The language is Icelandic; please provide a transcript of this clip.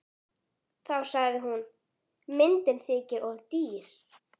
Þá sagði hún: Myndin þykir of dýr.